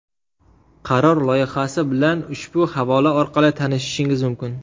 Qaror loyihasi bilan ushbu havola orqali tanishishingiz mumkin.